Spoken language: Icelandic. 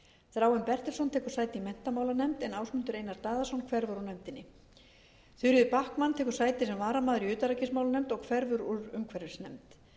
þráinn bertelsson tekur sæti í menntamálanefnd en ásmundur einar daðason hverfur úr nefndinni þuríður backman tekur sæti sem varamaður í utanríkismálanefnd og hverfur úr umhverfisnefnd